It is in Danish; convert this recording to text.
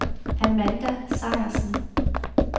Amanda Sejersen